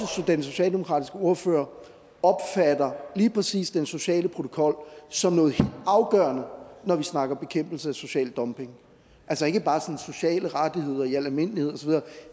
den socialdemokratiske ordfører opfatter lige præcis den sociale protokol som noget helt afgørende når vi snakker om bekæmpelse af social dumpning altså ikke bare snakker om sociale rettigheder i al almindelighed